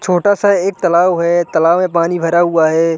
छोटा सा एक तालाब है तालाब में पानी भरा हुआ है।